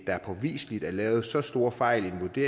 der påviseligt er lavet så store fejl i